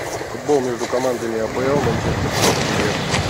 футбол между командами апл манчестер сити ливер